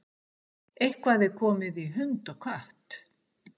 Eitthvað er komið í hund og kött